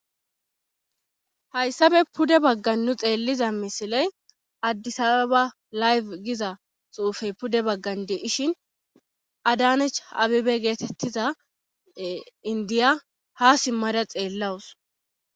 hayssabe pude baggan nu xeelliza misiley addisaa ba layfe giza xuufey pude baggande ishin adanech abibe geetettiza indiya ha simmada xeellawus